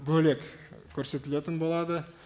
бөлек көрсетілетін болады